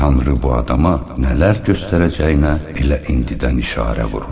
Tanrı bu adama nələr göstərəcəyinə elə indidən işarə vurur.